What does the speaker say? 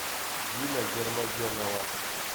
дина гермогенова